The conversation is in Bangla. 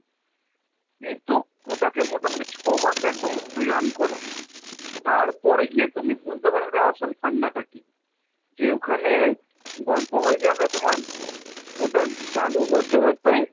কিন্তু ওটাকে মোটামুটি ছয় মাস এক বছর তুমি run করাও তারপর গিয়ে তুমি বুঝতে পারবে আসল funds টা কি। যে ওখানে গল্প হয়ে যাবে তোমার ওটা চালু হতে হতেই,